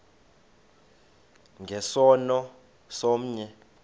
nge sono somnye